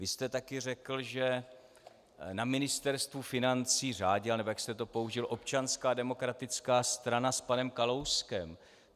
Vy jste také řekl, že na Ministerstvu financí řádila, nebo jak jste to použil, Občanská demokratická strana s panem Kalouskem.